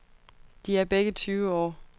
De er begge tyve år.